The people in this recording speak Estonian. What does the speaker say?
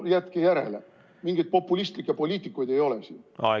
Jätke järele, mingeid populistlikke poliitikuid ei ole siin!